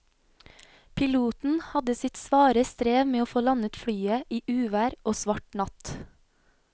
Piloten hadde sitt svare strev med å få landet flyet i uvær og svart natt.